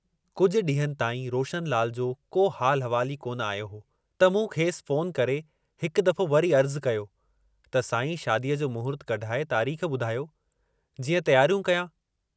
कुझु ॾींहंनि ताईं रोशनलाल जो को हालु अहिवालु ई कोन आयो हो त मूं खेसि फ़ोन करे हिकु दफ़ो वरी अर्जु़ कयो त सांईं शादीअ जो महूर्त कढाए तारीख़ ॿुधायो, जीअं तियारियूं कयां।